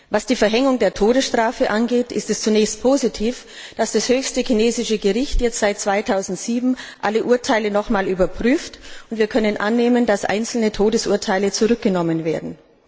Was die Verhängung der Todesstrafe angeht, ist es zunächst positiv, dass das höchste chinesische Gericht jetzt alle Urteile seit 2007 noch einmal überprüft, und wir können annehmen, dass einzelne Todesurteile zurückgenommen werden.